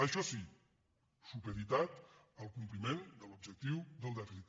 això sí supeditat al compliment de l’objectiu del dèficit